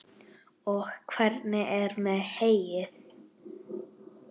Og hvernig er með heyið?